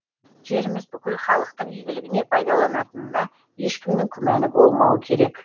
жеріміз бүкіл халықтың игілігіне пайдаланатынына ешкімнің күмәні болмауы керек